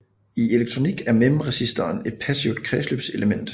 I elektronik er memristoren et passivt kredsløbselement